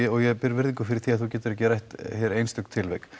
og ég ber virðingu fyrir því að þú getir ekki rætt hér einstök tilvik